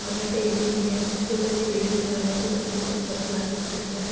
और यहाँ पे ए.टी.एम. भी है | उसके ऊपर के बिल्डिंग पे लाल रंग की पट्टी है और गिलास की खिड़कियां हैं |